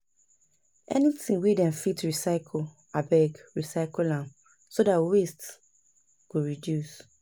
anytin wey dem fit recycle abeg recycle am so dat waste go reduce